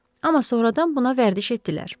Amma sonradan buna vərdiş etdilər.